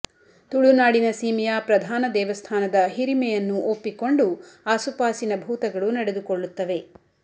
ತುಳುನಾಡಿನ ಸೀಮೆಯ ಪ್ರಧಾನ ದೇವಸ್ಥಾನದ ಹಿರಿಮೆಯನ್ನು ಒಪ್ಪಿಕೊಂಡು ಆಸುಪಾಸಿನ ಭೂತಗಳು ನಡೆದುಕೊಳ್ಳುತ್ತವೆ